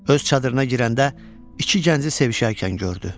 Öz çadırına girəndə iki gənci sevişərkən gördü.